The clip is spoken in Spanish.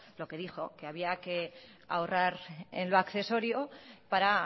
lo que dijo que había que ahorrar en lo accesorio para